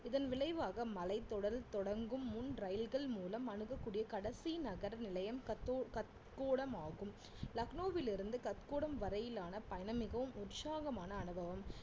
இதன் விளைவாக மலைத்தொடர் தொடங்கும் முன் ரயில்கள் மூலம் அணுகக்கூடிய கடைசி நகர் நிலையம் கத்~ கத்கோடம் ஆகும் லக்னோவிலிருந்து கத்கோடம் வரையிலான பயணம் மிகவும் உற்சாகமான அனுபவம்